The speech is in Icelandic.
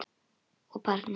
Og barnið.